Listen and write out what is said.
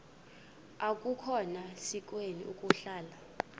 akukhona sikweni ukuhlala